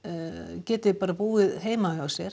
geti bara búið heima hjá sér